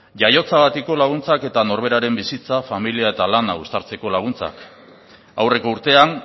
jaiotzagatiko laguntzak eta norberaren bizitza familia eta lana uztartzeko laguntzak aurreko urtean